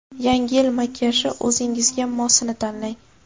Yangi yil makiyaji: o‘zingizga mosini tanlang.